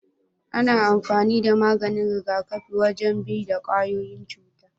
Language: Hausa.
Ana amfani da maganin rigakafi wajen bi da kwayoyin cuta.